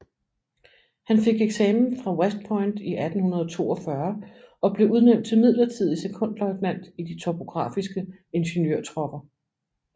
Han fik eksamen fra West Point i 1842 og blev udnævnt til midlertidig sekondløjtnant i de topografiske ingeniørtropper